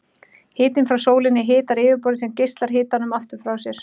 Hitinn frá sólinni hitar yfirborðið sem geislar hitanum aftur frá sér.